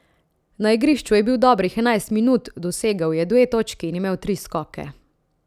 Na igrišču je bil dobrih enajst minut, dosegel je dve točki in imel tri skoke.